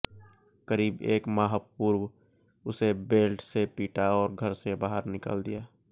करीब एक माह पूर्व उसे बेल्ट से पीटा और घर से बाहर निकाल दिया